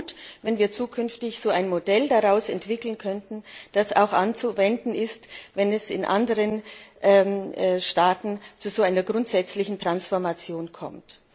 Es wäre gut, wenn wir zukünftig ein Modell daraus entwickeln könnten, das auch anzuwenden ist, wenn es in anderen Staaten zu so einer grundsätzlichen Transformation kommt.